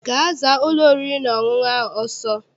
Gaa zaa ụlọ oriri na ọṅụṅụ ahụ ọsọ!